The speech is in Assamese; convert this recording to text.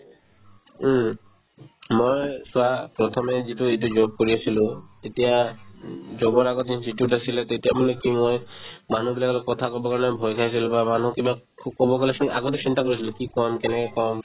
উম, মই চোৱা প্ৰথমে যিটো এইটো job কৰি আছিলো তেতিয়া উম job ৰ আগতে যিটোতোত আছিলে তেতিয়ামানে কি মই মানুহবিলাকৰ লগত কথা ক'বৰ কাৰণে ভয় খাইছিলো বা মানুহক ক'বলে গ'লে চোন আগতে চিন্তা কৰিছিলো কি কম কেনেকে কম